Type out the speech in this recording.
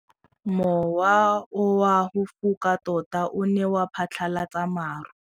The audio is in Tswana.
Mowa o wa go foka tota o ne wa phatlalatsa maru.